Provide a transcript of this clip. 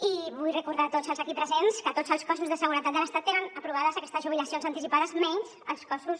i vull recordar a tots els aquí presents que tots els cossos de seguretat de l’estat tenen aprovades aquestes jubilacions anticipades menys els cossos